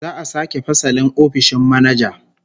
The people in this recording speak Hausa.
Za'a sake fasalin ofishin manaja